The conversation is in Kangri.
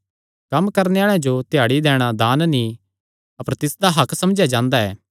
कम्म करणे आल़े जो दिहाड़ी दैणा दान नीं अपर तिसदा हक्क समझेया जांदा ऐ